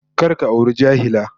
Kar ka auri jahila